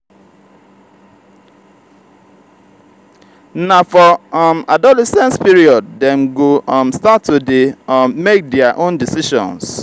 na for um adolescence period dem go um start to dey um make their own decisions